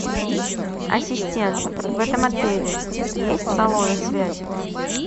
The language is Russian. ассистент в этом отеле есть салоны связи